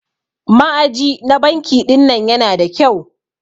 Ma'aji na banki ɗinnan Yana da kyau.